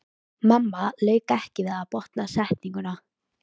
Mamma lauk ekki við að botna setninguna.